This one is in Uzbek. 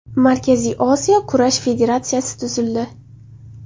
Markaziy Osiyo kurash federatsiyasi tuzildi.